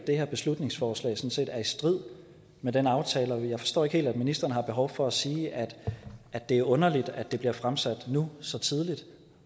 det her beslutningsforslag sådan set er i strid med den aftale og jeg forstår ikke helt at ministeren har behov for at sige at at det er underligt at det bliver fremsat nu så tidligt